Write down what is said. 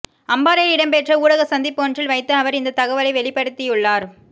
அம்பாறையில் இடம்பெற்ற ஊடக சந்திப்பொன்றில் வைத்து அவர் இந்த தகவலை வெளிப்படுத்தியுள்ளார்